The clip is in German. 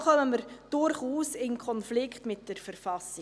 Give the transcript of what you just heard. Da kommen wir durchaus in einen Konflikt mit der Verfassung.